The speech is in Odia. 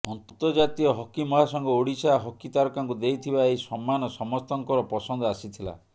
ଅନ୍ତର୍ଜାତୀୟ ହକି ମହାସଂଘ ଓଡ଼ିଶା ହକି ତାରକାଙ୍କୁ ଦେଇଥିବା ଏହି ସମ୍ମାନ ସମସ୍ତଙ୍କର ପସନ୍ଦ ଆସିଥିଲା